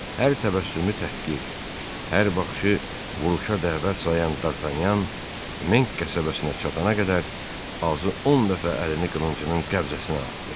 Hər təbəssümü təhqir, hər baxışı vuruşa dəvət sayan Dartanyan Menk qəsəbəsinə çatana qədər azı 10 dəfə əlini qılıncının qəbzəsinə atdı.